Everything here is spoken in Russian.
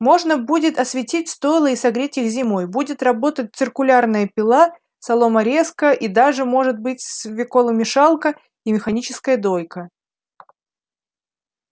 можно будет осветить стойла и согреть их зимой будет работать циркулярная пила соломорезка и даже может быть свеколомешалка и механическая дойка